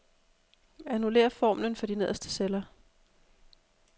Annullér formlen for de nederste celler.